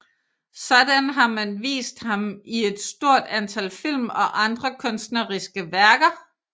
Sådan har man vist ham i et stort antal film og andre kunstneriske værker